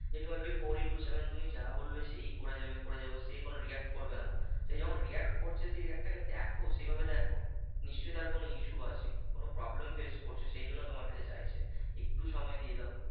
যে twenty four into seven তুমি যা বলবে সেই করে যাবে করে যাবো সে কোন react করবে না সে যখন react করছে সে react টাকে দেখো সেই ভাবে দেখো নিশ্চই তার কোন issue আছে কোন problem face করছে সেই জন্য তোমার কাছে চাইছে একটু সময় দিয়ে দাও